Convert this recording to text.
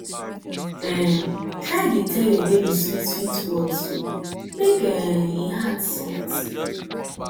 um try dey tel yur baby swit swit words o mek um em heart soft